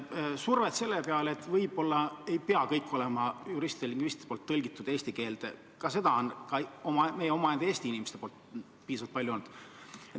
Ka on piisavalt palju tunda olnud meie enda Eesti inimeste survet, et võib-olla ei peaks kõik need tekstid olema juristide-lingvistide poolt eesti keelde tõlgitud.